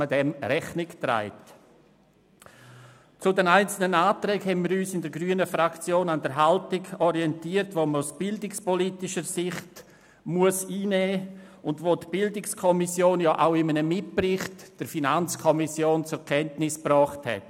Zu den einzelnen Anträgen haben wir uns in der grünen Fraktion an der Haltung orientiert, wie wir sie aus bildungspolitischer Sicht einnehmen müssen und sie die BiK in einem Mitbericht an die FiKo zum Ausdruck gebracht hat.